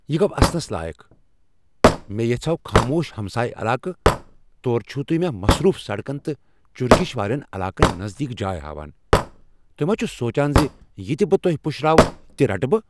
یہ گو اسنس لایق۔ مےٚ یَژھاو خاموش ہمسایہ علاقہٕ، توٗرٕ چِھو تُہۍ مےٚ مصروف سڑکن تہٕ چرگش والین علاقن نزدیٖک جاے ہاوان۔ تُہۍ ما چھوٕ سوچان زِ یہِ تہِ بہٕ تۄہہِ پشرٲوو بہٕ رٹہٕ؟